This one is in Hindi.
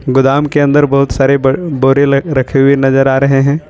गोदाम के अंदर बहुत सारे बड़ बोरे ल रखे हुए नजर आ रहे हैं।